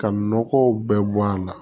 Ka nɔgɔw bɛɛ bɔ a la